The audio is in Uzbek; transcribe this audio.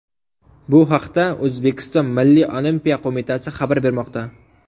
Bu haqda O‘zbekiston Milliy Olimpiya qo‘mitasi xabar bermoqda .